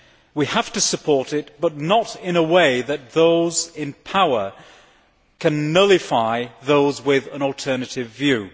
We have to support it, but not in such a way that those in power can nullify those with an alternative view.